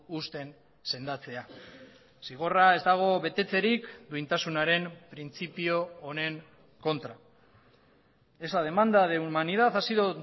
uzten sendatzea zigorra ez dago betetzerik duintasunaren printzipio honen kontra esa demanda de humanidad ha sido